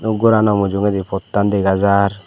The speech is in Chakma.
doob gorano mujungedi pottan dega jaar.